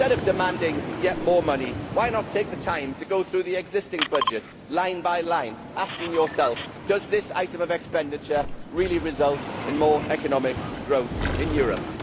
Instead of demanding yet more money, why not take the time to go through the existing budget, line by line, asking yourself whether this item of expenditure really results in more economic growth in Europe?